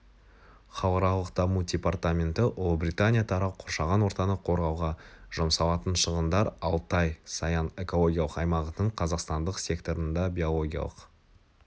халықаралық даму департаменті ұлыбритания тарау қоршаған ортаны қорғауға жұмсалатын шығындар алтай-саян экологиялық аймағының қазақстандық секторында биологиялық